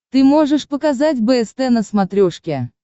ты можешь показать бст на смотрешке